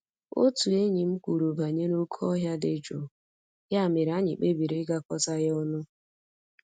Otu enyi m kwuru banyere oké ọhịa dị jụụ, ya mere anyị kpebiri ịgakọta ya ọnụ